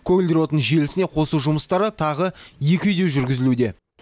көгілдір отын желісіне қосу жұмыстары тағы екі үйде жүргізілуде